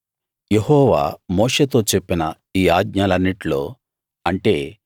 యెహోవా మోషేతో చెప్పిన ఈ ఆజ్ఞలన్నిట్లో అంటే